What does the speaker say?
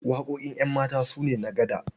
Waƙoƙin ƴanmata su ne na gaɗa.